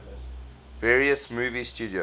various movie studios